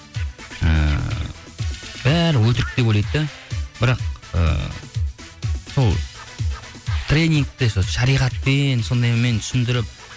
ііі бәрі өтірік деп ойлайды да бірақ ііі сол тренингте шариғатпен сондаймен түсіндіріп